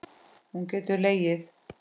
Hún getur legið.